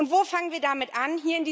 Und wo fangen wir damit an?